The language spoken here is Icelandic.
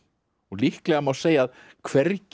líklega má segja að hvergi